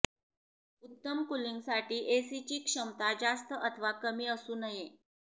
उत्तम कूलिंगसाठी एसीची क्षमता जास्त अथवा कमी असू नये